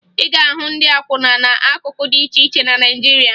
Ị ga-ahụ ndị akwụna n'akụkụ dị iche iche na Naịjirịa